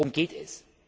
Worum geht es?